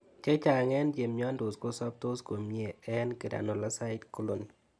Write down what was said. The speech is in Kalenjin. Chechang' eng' che miandos ko soptos komie eng' granulocyte colony